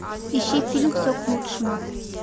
ищи фильм все к лучшему